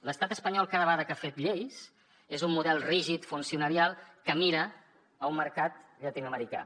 l’estat espanyol cada vegada que ha fet lleis és un model rígid funcionarial que mira a un mercat llatinoamericà